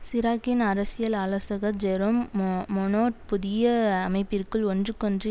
சிராக்கின் அரசியல் ஆலோசகர் Jerome Monod புதிய அமைப்பிற்குள் ஒன்றுக்கொன்று